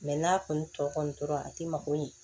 n'a kɔni tɔ kɔni tora a tɛ mako ɲɛ